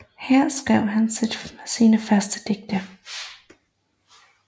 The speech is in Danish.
Her skrev han sine første digte